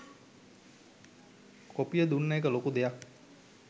කොපිය දුන්න එක ලොකු දෙයක්.